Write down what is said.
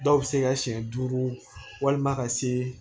Dɔw bɛ se ka siɲɛ duuru walima ka see